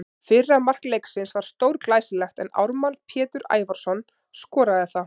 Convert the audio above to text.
Fyrra mark leiksins var stórglæsilegt en Ármann Pétur Ævarsson skoraði það.